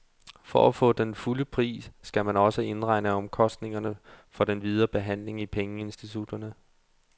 For at få den fulde pris, skal man også indregne omkostningerne for den videre behandling i pengeinstitutterne.